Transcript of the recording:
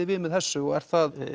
við með þessu og er það